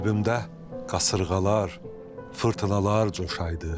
Qəlbimdə qasırğalar, fırtınalar coşaydı.